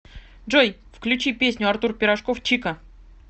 джой включи песню артур пирожков чика